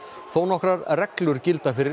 þónokkrar reglur gilda fyrir